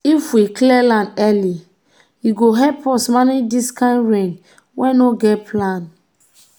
if we clear land early e go help us manage this kain rain wey no get plan.